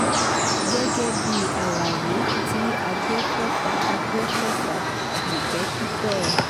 gẹ́gẹ́ bíi àlàyé tí àgbéfọ́fà àgbéfọ́fà ìńpèkìtọ́ e